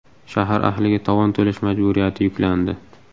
Shahar ahliga tovon to‘lash majburiyati yuklandi.